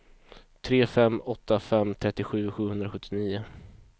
tre fem åtta fem trettiosju sjuhundrasjuttionio